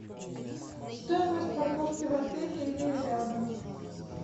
стоимость парковки в отеле или рядом